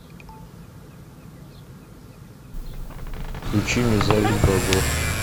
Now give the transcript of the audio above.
включи мне зависть богов